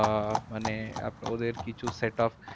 আহ মানে ওদের কিছু set up